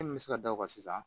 Min bɛ se ka da o kan sisan